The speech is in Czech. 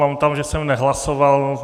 Mám tam, že jsem nehlasoval.